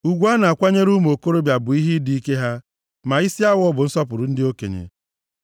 Ugwu a na-akwanyere ụmụ okorobịa bụ nʼihi ịdị ike ha, ma isi awọ bụ nsọpụrụ ndị okenye.